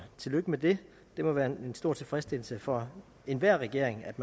tillykke med det det må være en stor tilfredsstillelse for enhver regering at